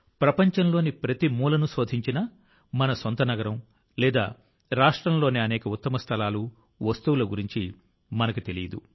ప్రపంచంలోని ప్రతి మూలను శోధించినా మన సొంత నగరం లేదా రాష్ట్రంలోని అనేక ఉత్తమ స్థలాలు వస్తువుల గురించి మనకు తెలియదు